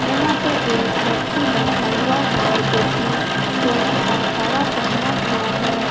यहां पे एक व्यक्ति बैठा हुआ है जोकि सोने का कड़ा पहना हुआ है।